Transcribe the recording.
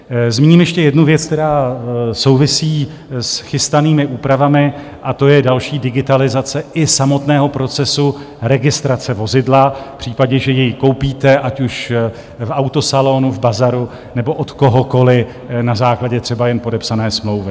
Zmíním ještě jednu věc, která souvisí s chystanými úpravami, a to je další digitalizace i samotného procesu registrace vozidla, v případě, že jej koupíte, ať už v autosalonu, v bazaru nebo od kohokoliv na základě třeba jen podepsané smlouvy.